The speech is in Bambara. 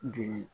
Joli